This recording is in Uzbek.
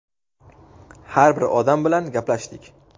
Har bir odam bilan gaplashdik.